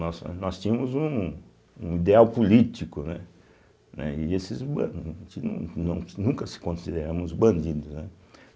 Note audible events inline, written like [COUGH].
Nós eh nós tínhamos um um ideal político, né, né e esses [UNINTELLIGIBLE] a gente nu não nunca se consideramos bandidos, né.